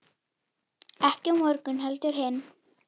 Ekki á morgun heldur hinn.